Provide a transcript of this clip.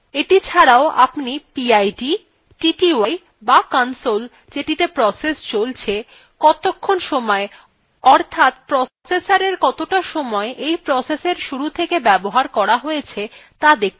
এটি ছাড়াও আপনি pid tty বা console যেটিতে প্রসেস চলছে কতক্ষণ সময় অর্থাৎ processor কতটা সময় এই প্রসেসএর শুরু থেকে ব্যবহার করা হয়েছে ত়া দেখতে পাচ্ছেন